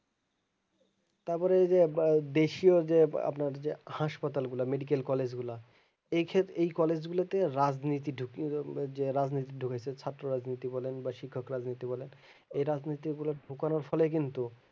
তারপরে ওই যে দেশও যে আপনার যে হাসপাতাল গুলা medical college গুলা এই খেত এই college গুলোতে রাজনীতি ঢুকিয়ে রাজনীতি ঢুকাইছে ছাত্র রাজনীতি বলেন বা শিক্ষক রাজনীতি বলেন এই রাজনীতি গুলা ঢুকানোর ফলে কিন্তু